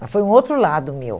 Mas foi um outro lado meu.